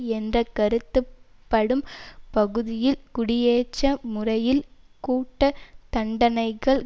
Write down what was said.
என்ற கருத்தப்படும் பகுதிகளில் குடியேற்ற முறையில் கூட்டு தண்டனைகள்